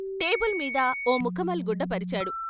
టేబుల్మీద ఓ ముఖమల్ గుడ్డ పరిచాడు.